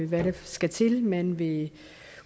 hvad der skal til man vil